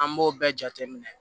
An b'o bɛɛ jateminɛ